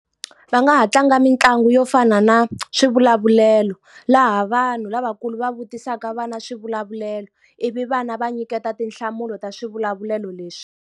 Va nga ha tlanga mitlangu yo fana na swivulavulelo. Laha vanhu lavakulu va vutisaka vana swivulavulelo, ivi vana va nyiketa tinhlamulo ta swivulavulelo leswi.